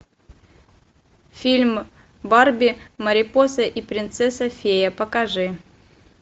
фильм барби марипоса и принцесса фея покажи